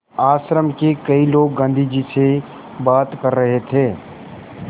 आश्रम के कई लोग गाँधी जी से बात कर रहे थे